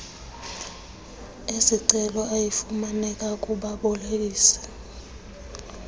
esicelo ayafumaneka kubabolekisi